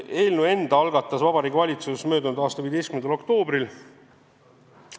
Eelnõu algatas Vabariigi Valitsus möödunud aasta 15. oktoobril.